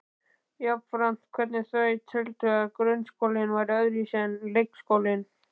Jafnframt hvernig þau teldu að grunnskólinn væri öðruvísi en leikskólinn.